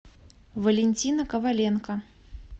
валентина коваленко